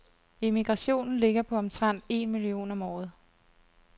Emigrationen ligger på omtrent en million om året.